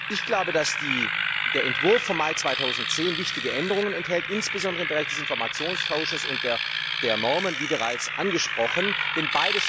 Ich glaube, dass der Entwurf vom Mai 2010 wichtige Änderungen enthält, insbesondere im Bereich des Informationsaustausches und der Normen, wie bereits angesprochen wurde.